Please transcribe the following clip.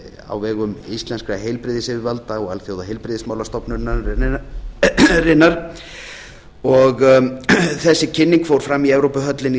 á vegum íslenskra heilbrigðisyfirvalda og alþjóðaheilbrigðismálastofnunarinnar þessi kynning fór fram í evrópuhöllinni í